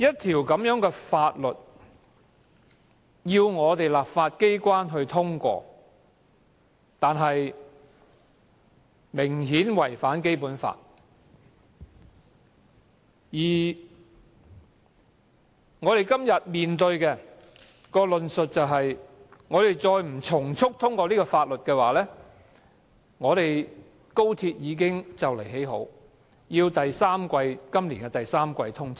政府要求本港的立法機關通過一項明顯違反《基本法》的《條例草案》，但我們今天面對的通過理據，卻是快將完工的高鐵要趕及今年第三季通車。